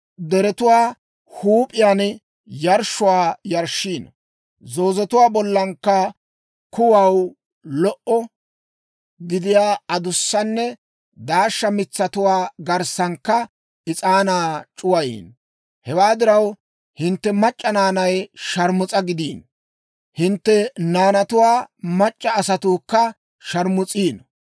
Deretuwaa huup'iyaan yarshshuwaa yarshshiino; zoozetuwaa bollankka kuway lo"o gidiyaa adussanne daashsha mitsatuwaa garssankka is'aanaa c'uwayiino. «Hewaa diraw, hintte mac'c'a naanay sharmus'a gidiino; hintte naanatuwaa mac'c'a asatuukka sharmus'iino.